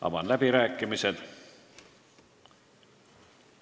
Avan läbirääkimised.